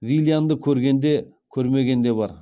виллианды көрген де көрмеген де бар